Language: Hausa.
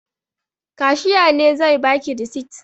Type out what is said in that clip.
Kashiya ne zai ba ki risit.